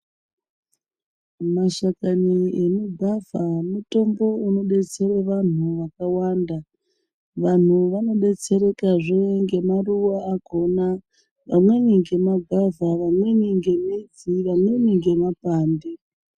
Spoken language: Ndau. Mashakani emugwavha mutombo unobetsera vantu vakawanda. Vantu vanobetserekazve ngemaruva akona, vamweni ngemagwavha, vamweni ngemidzi, vamweni ngemapande.